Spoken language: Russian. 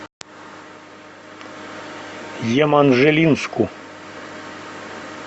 еманжелинску